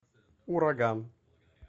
ураган